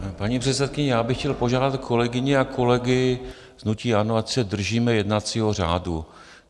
Paní předsedkyně, já bych chtěl požádat kolegyni a kolegy z hnutí ANO, ať se držíme jednacího řádu.